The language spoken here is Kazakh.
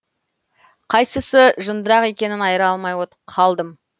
қайсысы жындырақ екенін айыра алмай қалдым